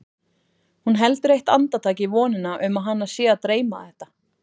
Hún heldur eitt andartak í vonina um að hana sé að dreyma þetta.